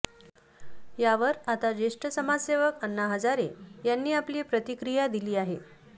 यावर आता ज्येष्ठ समाजसेवक अण्णा हजारे यांनी आपली प्रतिक्रिया दिली आहे